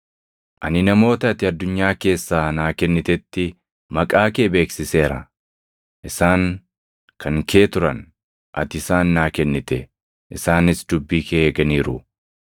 “Ani namoota ati addunyaa keessaa naa kennitetti maqaa kee beeksiseera. Isaan kan kee turan; ati isaan naa kennite; isaanis dubbii kee eeganiiru.